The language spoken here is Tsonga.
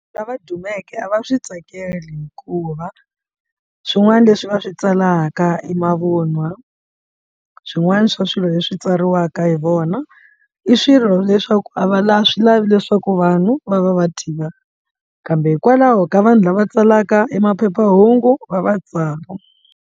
Lava dumeke a va swi tsakeli hikuva swin'wana leswi va swi tsalaka e mavunwa swin'wana swa swilo leswi tsariwaka hi vona i swilo leswaku a va la swi lavi leswaku vanhu va va va tiva kambe hikwalaho ka vanhu lava tsalaka e maphephahungu va va tsala.